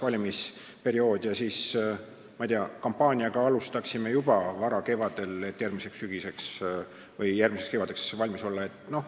Valimisperiood kestaks kaks nädalat ja kampaaniat alustaksime juba varakevadel, et järgmiseks kevadeks valmis olla.